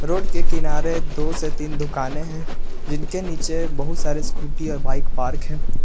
Road के किनारे दो से तीन दुकानें हैं जिनके नीचे बहुत सारे स्कूटी और बाइक पार्क है।